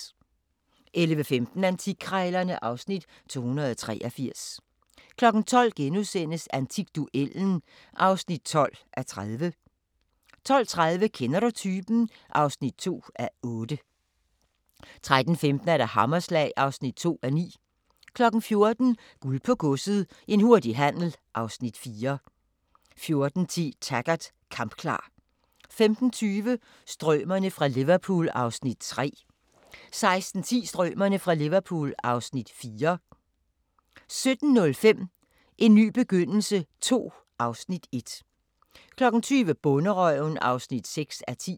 11:15: Antikkrejlerne (Afs. 283) 12:00: Antikduellen (12:30)* 12:30: Kender du typen? (2:8) 13:15: Hammerslag (5:9) 14:00: Guld på Godset – en hurtig handel (Afs. 4) 14:10: Taggart: Kampklar 15:20: Strømerne fra Liverpool (Afs. 3) 16:10: Strømerne fra Liverpool (Afs. 4) 17:05: En ny begyndelse II (Afs. 1) 20:00: Bonderøven (6:10)